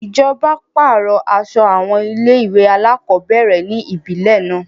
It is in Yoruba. Ìjọba pàrọ̀ aso àwọn ilé-ìwé alákọ̀ọ́bẹ̀rẹ̀ ni ibile náà.